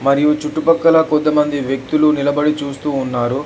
మరియు చుట్టుపక్కల కొంతమంది వ్యక్తులు నిలబడి చూస్తూ ఉన్నారు.